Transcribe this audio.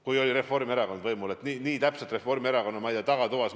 Kui Reformierakond oli võimul, ehk siis otsustati neid asju Reformierakonna tagatoas.